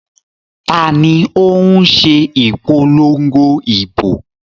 Ta ni ó ń ṣe ìpolongo ìbò?